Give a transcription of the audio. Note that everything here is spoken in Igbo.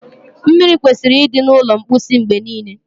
mmiri kwesịrị ịdị na ulo mposi mgbe niile